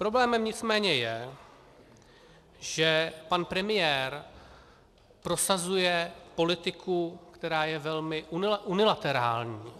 Problémem nicméně je, že pan premiér prosazuje politiku, která je velmi unilaterální.